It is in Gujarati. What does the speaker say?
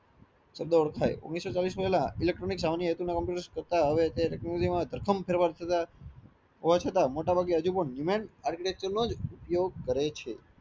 થાય ઓગણીસો ચાલીસ પેહલાં ઇલેક્ટ્રોનિક કોમ્પ્યુટર્સ કરતા હવે તે તેચનોલોજી માં પ્રથમ ફેરફાર હોવા છતાં હજુ પણ મોટા ભાગે achitecture નોજ ઉપયોગ કરે છે